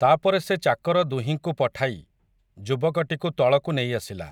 ତା'ପରେ ସେ ଚାକର ଦୁହିଁକୁ ପଠାଇ, ଯୁବକଟିକୁ ତଳକୁ ନେଇଆସିଲା ।